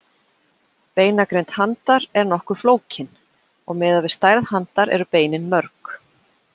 Beinagrind handar er nokkuð flókin og miðað við stærð handar eru beinin mörg.